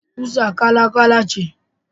Kusa kala-kala ce.